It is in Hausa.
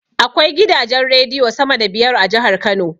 Akwai gidajen rediyo sama da biyar a jahar kano